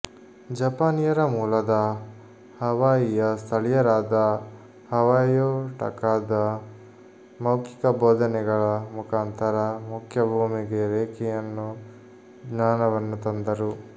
ಜಪಾನಿಯರ ಮೂಲದ ಹವಾಯಿಯ ಸ್ಥಳೀಯರಾದ ಹವಾಯೋ ಟಕಾಟ ಮೌಖಿಕ ಬೋಧನೆಗಳ ಮುಖಾಂತರ ಮುಖ್ಯ ಭೂಮಿಗೆ ರೇಖಿಯನ್ನು ಜ್ಞಾನವನ್ನು ತಂದರು